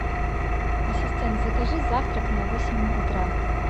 ассистент закажи завтрак на восемь утра